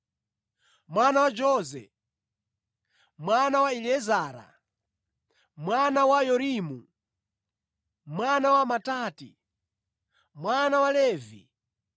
mwana wa Jose, mwana wa Eliezara, mwana wa Yorimu, mwana wa Matati, mwana wa Levi,